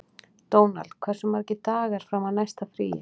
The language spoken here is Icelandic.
Dónald, hversu margir dagar fram að næsta fríi?